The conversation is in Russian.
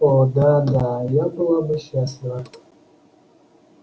о да да я была бы счастлива